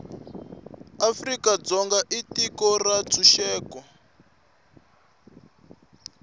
afrika dzonga i tiko ra ntshuxeko